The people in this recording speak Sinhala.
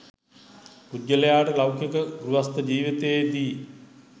පුද්ගලයාට ලෞකික ගෘහස්ත ජීවිතයේදී